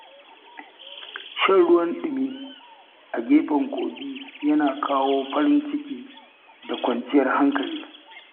Shan ruwan dumi a gefen kogi yana kawo farin ciki da kwanciyar hankali.